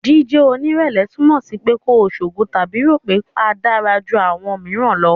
Jíjẹ́ onírẹ̀lẹ̀ túmọ̀ sí pé kò ṣogo tàbí rò pé a dára ju àwọn mìíràn lọ.